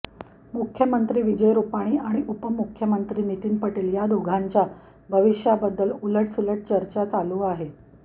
मुख्यमंत्री विजय रूपाणी आणि उपमुख्यमंत्री नितीन पटेल या दोघांच्या भविष्याबद्दल उलटसुलट चर्चा चालू आहेत